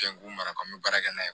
Fɛn kun mana kan n bɛ baara kɛ n'a ye